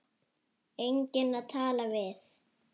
Enginn að tala við.